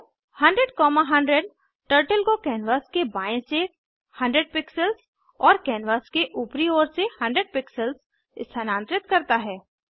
गो 100100 turtle को canvas के बाएँ से 100 पिक्सेल्स और कैनवास के ऊपरी ओर से 100 पिक्सेल्स स्थानांतरित करता है